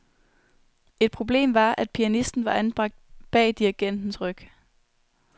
Et problem var, at pianisten var anbragt bag dirigentens ryg.